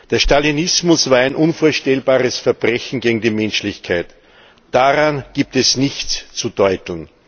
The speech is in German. Der Stalinismus war ein unvorstellbares Verbrechen gegen die Menschlichkeit. Daran gibt es nichts zu deuteln.